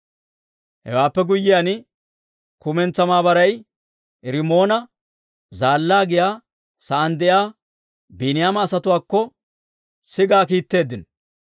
Hewaappe guyyiyaan, kumentsaa maabaray Rimoona Zaallaa giyaa saan de'iyaa Biiniyaama asatuwaakko sigaa kiitteeddino.